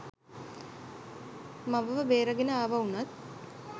මවව බේරාගෙන ආවා වුණත්